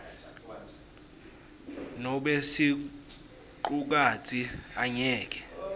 nobe sicukatsi angeke